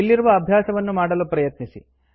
ಇಲ್ಲಿರುವ ಅಭ್ಯಾಸವನ್ನು ಮಾಡಲು ಪ್ರಯತ್ನಿಸಿ